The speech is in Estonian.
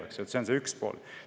See on üks pool.